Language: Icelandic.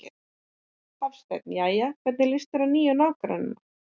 Hafsteinn: Jæja, og hvernig líst þér á nýju nágrannana?